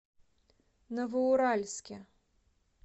новоуральске